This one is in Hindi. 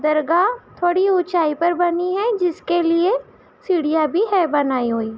दरगाह थोड़ी ऊंचाई पर बनी है जिसके लिए सीढ़िया भी है बनाई हुई।